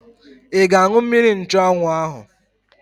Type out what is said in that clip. Ị ga-aṅụ mmiri nchụanwụ ahụ?